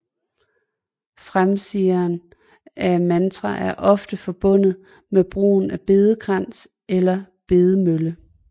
Fremsigelsen af mantra er ofte forbundet med brugen af bedekrans eller bedemølle